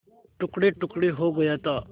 टुकड़ेटुकड़े हो गया था